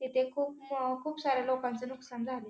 येथे खूप खूप सारे लोकांच नुकसान झालं.